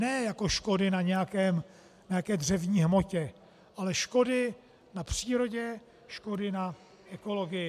Ne jako škody na nějaké dřevní hmotě, ale škody na přírodě, škody na ekologii.